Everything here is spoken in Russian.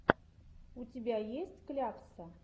у тебя есть клякса